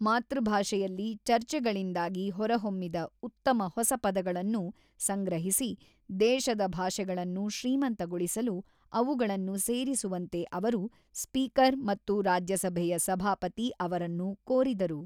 ಮಾತೃಭಾಷೆಯಲ್ಲಿ ಚರ್ಚೆಗಳಿಂದಾಗಿ ಹೊರಹೊಮ್ಮಿದ ಉತ್ತಮ ಹೊಸ ಪದಗಳನ್ನು ಸಂಗ್ರಹಿಸಿ ದೇಶದ ಭಾಷೆಗಳನ್ನು ಶ್ರೀಮಂತಗೊಳಿಸಲು ಅವುಗಳನ್ನು ಸೇರಿಸುವಂತೆ ಅವರು, ಸ್ಪೀಕರ್ ಮತ್ತು ರಾಜ್ಯಸಭೆಯ ಸಭಾಪತಿ ಅವರನ್ನು ಕೋರಿದರು.